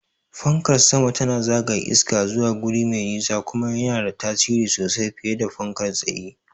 Fankar sama tana zagaya iska zuwa guri me nisa, kuma yana da tasiri sosai fiye da fankar tsaye.